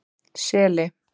Seli